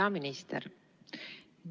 Hea minister!